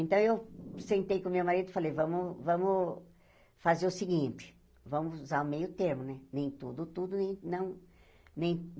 Então, eu sentei com o meu marido e falei, vamos vamos fazer o seguinte, vamos usar o meio-termo, né? nem tudo tudo nem não nem